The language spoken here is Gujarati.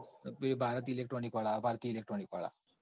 હા ભારત electronic વાળા ભારતીય electronic વાળા